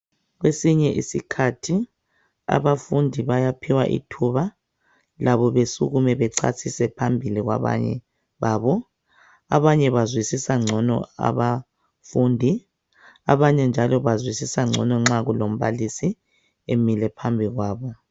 Kwesinye iskhathi abafundi bayaphiwa ithuba labo besukume bechasise phambili kwabanye babo abanye njalo bazwisisa ngcono abafundi nxa kulo mbalisi phambili